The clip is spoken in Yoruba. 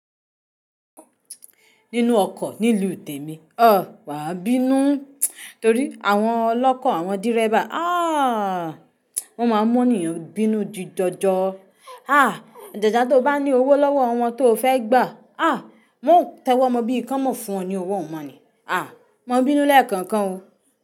Nínú ọkọ̀ nílùú Tẹ̀mi, ah! Wàa bínú torí àwọn ọlọ́kọ̀ àwọn dírẹ́bà, aah! Wọn máa ń mú ènìyàn bínú jíjọjọ. Ah! Ajajà tó bá ní owó lọ́wọ́ won tó fẹ́ gbà, ah! Mọ́ tẹ́wọ́ mọ bí i kánmọ̀ fún ọ ní owó mọ ni. Ah! Mo bínú lẹ́ẹ̀kọ̀kan.